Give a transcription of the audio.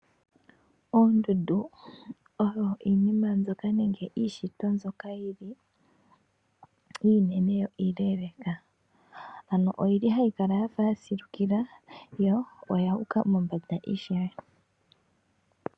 Oondundu oyo iinima mbyoka nenge iishitwa mbyoka yili iinene yo iileleka. Ano oyili hayi kala yafa yasilukila yo oyuuka mombanda ishewe.